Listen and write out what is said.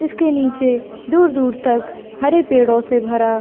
इसके नीचे दूर-दूर तक हरे पेड़ो से भरा--